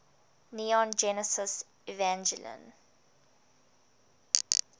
neon genesis evangelion